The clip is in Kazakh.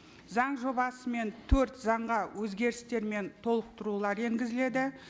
заң жобасымен төрт заңға өзгерістер мен толықтырулар енгізіледі